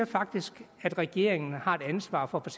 faktisk at regeringen har et ansvar for at